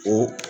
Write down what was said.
O